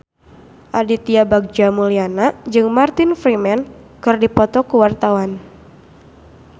Aditya Bagja Mulyana jeung Martin Freeman keur dipoto ku wartawan